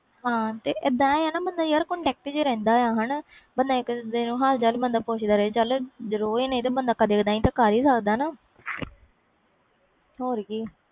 ਹਾਂ ਤੇ ਇਹਦਾ ਆ ਬੰਦਾ contact ਵਿੱਚ ਰਹਿਦਾ ਆ ਹਾਣਾ ਇਕ ਦੂਜੇ ਦਾ ਹਾਲ ਚਾਲ ਪੁੱਛ ਲੈ ਰੋਜ਼ ਨਾ ਸਹੀ ਕਦੇ ਕਦੇ ਤਾ ਕਰ ਹੀ ਲੈਂਦਾ ਵਾ